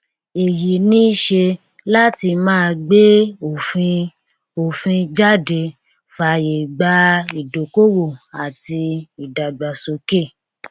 èyí níṣe láti máa gbé òfin òfin jáde fàyè gba ìdókòwò àti ìdàgbàsókè